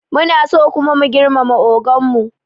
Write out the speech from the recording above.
Munaso kuma muna girmama ogan mu